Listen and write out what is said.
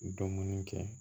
Dɔnni kɛ